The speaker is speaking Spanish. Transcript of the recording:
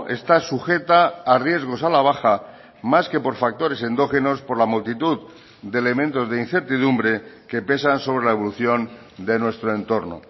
está sujeta a riesgos a la baja más que por factores endógenos por la multitud de elementos de incertidumbre que pesan sobre la evolución de nuestro entorno